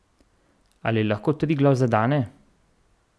Ali lahko Triglav zadane?